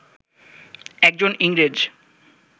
একজন ইংরেজ